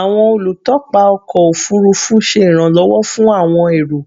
Awọn olutọpa ọkọ ofurufu ṣe iranlọwọ fun awọn ero